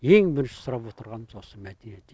ең бірінші сұрап отырғанымыз осы мәдениет үйі